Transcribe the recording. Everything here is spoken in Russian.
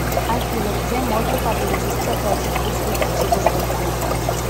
афина где можно поблизости оплатить услуги через банкомат